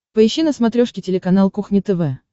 поищи на смотрешке телеканал кухня тв